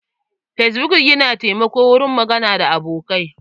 Fesbuk yana taimako wurin gama abokai.